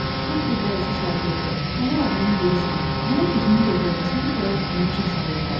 Sən bir dərzi şagirdi, fağır adamın birisən, mənə düzünü də görüm səni bura nə üçün salıblar?